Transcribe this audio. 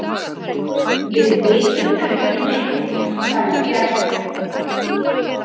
Við vitum ekki neitt, sagði Bjarni.